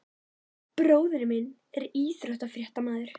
Bróðir minn er íþróttafréttamaður.